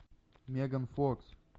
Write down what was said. меган фокс